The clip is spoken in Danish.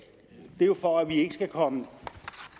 det er jo for at vi ikke skal komme